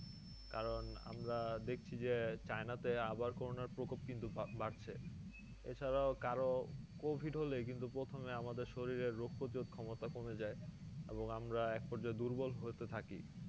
কারণ আমরা দেখছি যে চাইনা তে আবার করোনার প্রকপ কিন্তু বা~ বাড়ছে এছাড়াও কারো covid হলে কিন্তু প্রথমে আমাদের শরীরের রোগ প্রতিরোধ ক্ষমতা কমে যাই এবং আমরা এক পর্যায়ে দুর্বল হতে থাকি